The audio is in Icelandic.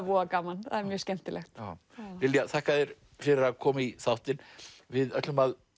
voða gaman mjög skemmtilegt Lilja þakka þér fyrir að koma í þáttinn við ætlum að